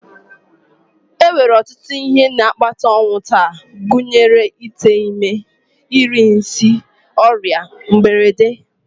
E nwere ọtụtụ ihe na-akpata ọnwụ taa gụnyere ite ime, iri nsị, ọrịa, mberede